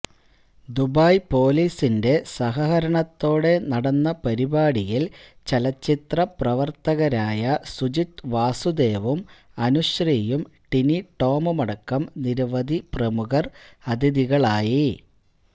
Dubai പൊലീസിന്റെ സഹകരണത്തോടെ നടന്ന പരിപാടിയിൽ ചലച്ചിത്ര പ്രവർത്തകരായ സുജിത് വാസുദേവും അനുശ്രീയും ടിനി ടോമുമടക്കം നിരവധി പ്രമുഖർ അതിഥികളായി